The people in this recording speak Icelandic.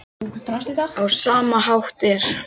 Á sama hátt er